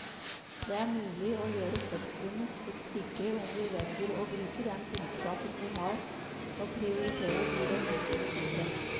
Det er mulig å gjøre fødslene sikre om vi velger å bruke den kunnskapen vi har og prioritere de ressursene som trengs.